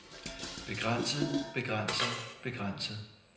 begrænset begrænset begrænset